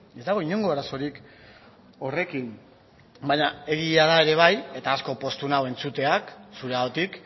ez dago inongo arazorik horrekin baina egia da ere bai eta asko poztu nau entzuteak zureagatik